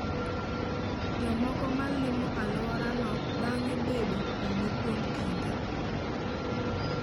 Jomoko ma limo alworano bang'e bedo kuno kuom kinde.